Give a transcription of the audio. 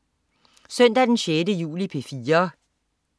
Søndag den 6. juli - P4: